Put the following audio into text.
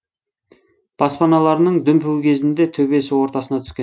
баспаналарының дүмпуі кезінде төбесі ортасына түскен